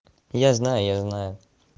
я знаю я знаю